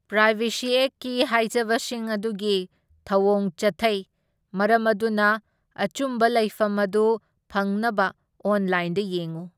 Privacy ꯑꯦꯛꯠꯀꯤ ꯍꯥꯏꯖꯕꯁꯤꯡ ꯑꯗꯨꯒꯤ ꯊꯧꯑꯣꯡ ꯆꯠꯊꯩ, ꯃꯔꯝ ꯑꯗꯨꯅ ꯑꯆꯨꯝꯕ ꯂꯩꯐꯝ ꯑꯗꯨ ꯐꯪꯅꯕ ꯑꯣꯟꯂꯥꯏꯟꯗ ꯌꯦꯡꯎ꯫